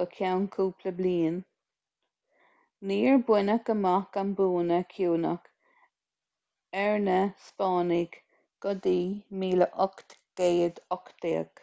go ceann cúpla bliain níor baineadh amach an bua cinniúnach ar na spáinnigh go dtí 1818